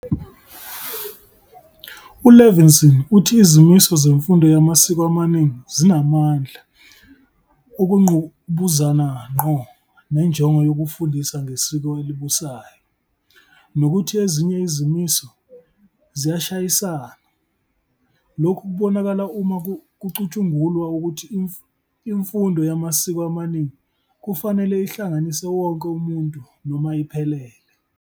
U-Levinson uthi izimiso zemfundo yamasiko amaningi zinamandla okungqubuzana ngqo nenjongo yokufundisa ngesiko elibusayo nokuthi ezinye izimiso ziyashayisana. Lokhu kubonakala uma kucutshungulwa ukuthi imfundo yamasiko amaningi kufanele ihlanganise wonke umuntu noma iphelele.